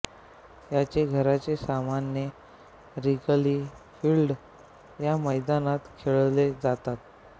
याचे घरचे सामने रिगली फील्ड या मैदानात खेळले जातात